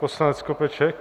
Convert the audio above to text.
Poslanec Skopeček.